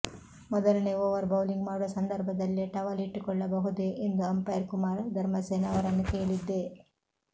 ಮೊದಲನೇ over bowling ಮಾಡುವ ಸಂದರ್ಭದಲ್ಲೇ ಟವಲ್ ಇಟ್ಟುಕೊಳ್ಳಬಹುದೆ ಎಂದು ಅಂಪೈರ್ ಕುಮಾರ್ ಧರ್ಮಸೇನಾ ಅವರನ್ನು ಕೇಳಿದ್ದೆ